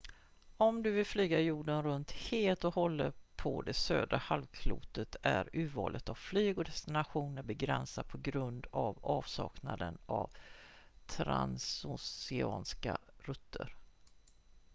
om du vill flyga jorden runt helt och hållet på det södra halvklotet är urvalet av flyg och destinationer begränsat på grund av avsaknaden av transoceanska rutter